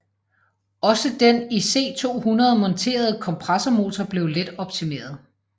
Også den i C 200 monterede kompressormotor blev let optimeret